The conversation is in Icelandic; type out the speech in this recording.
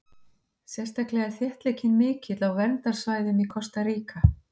Sérstaklega er þéttleikinn mikill á verndarsvæðum í Kosta Ríka.